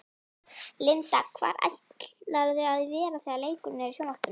Linda: Hvar ætlarðu að vera þegar leikurinn er í sjónvarpinu?